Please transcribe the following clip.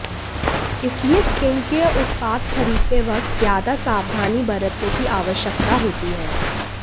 इसलिए स्किनकेयर उत्पाद खरीदते वक्त ज्यादा सावधानी बरतने की आवश्यकता होती है